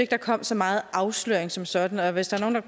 der kom så meget afsløring som sådan og hvis der er